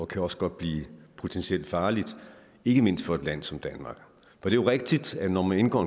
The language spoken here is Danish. kan også godt blive potentielt farligt ikke mindst for et land som danmark det er jo rigtigt at når man indgår